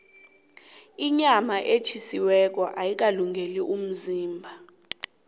inyama etjhisiweko ayikalungeli umzimba